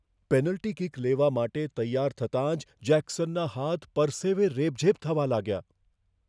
Penalty kick લેવા માટે તૈયાર થતાં જ જેક્સનના હાથ પરસેેવે રેબઝેબ થવા લાગ્યા.